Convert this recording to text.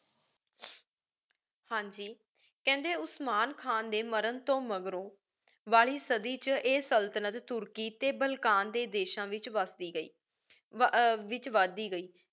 ਹਾਂਜੀ ਕੇਹੰਡੀ Osman Khan ਦੇ ਮਾਰਨ ਤੋ ਮਾਘ੍ਰੋ ਵਾਲੀ ਸਾਡੀ ਵਿਚ ਆਯ ਸੁਲ੍ਤ੍ਨਤ ਤੁਰਕੀ ਟੀ ਬਾਲ੍ਕਨ ਦੇ ਦੇਸ਼ਾਂ ਵਿਚ ਬਸਤੀ ਰੇਗ੍ਯ ਵਿਚ ਵਾਦ ਦੀ ਗਏ